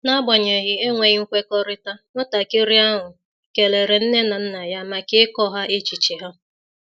N’agbanyeghị enweghị nkwekọrịta, nwatakịrị ahụ kelere nne na nna ya maka ịkọ ha echiche ha.